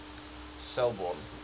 selbourne